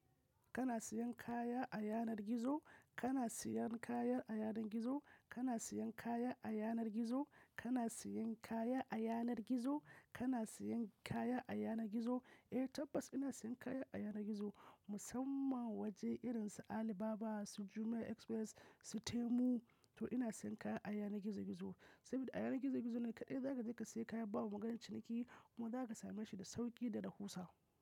Kana siyan kaya a yanar gizo? Kana siyan kaya a yanar gizo? Kana siyan kaya a yanar gizo? Kana siyan kaya a yanar gizo? Kana siyan kaya a yanar gizo? Eh tabbas ina siyan kaya a yanar gizo, musamman waje irin su Alibaba, su Jumia Express, su Temu. To ina siyan kaya a yanar gizo gizo. Saboda a yanar gizo gizo ne kaɗai zaka je ka sayi kaya ba maganar ciniki kuma zaka same shi da sauƙi da rahusa.